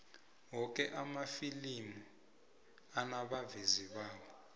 woke amafilimi anabavezi bawo